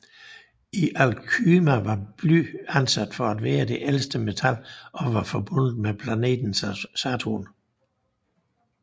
I alkymi var bly anset for at være det ældste metal og var forbundet med planeten Saturn